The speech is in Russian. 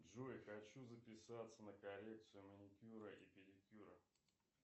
джой хочу записаться на коррекцию маникюра и педикюра